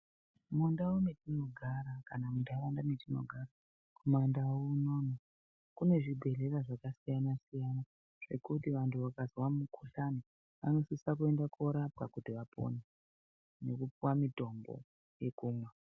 Mundau mwetinogara kana muntaraunda mwatinogara kuma ndau unono kune zvibhedhlera zvakasiyana siyana zvekuti vantu vakazwa mukhuhlani vanosisa kuenda korapwa kuti vapone nekupuwa mutombo wekumwa.